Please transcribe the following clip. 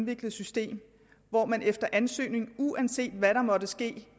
indviklet system hvor man efter ansøgning uanset hvad der måtte ske